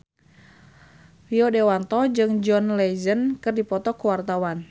Rio Dewanto jeung John Legend keur dipoto ku wartawan